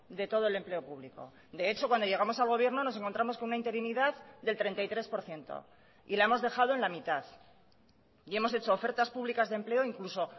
de todo el empleo público de hecho cuando llegamos al gobierno nos encontramos con una interinidad del treinta y tres por ciento y la hemos dejado en la mitad y hemos hecho ofertas públicas de empleo incluso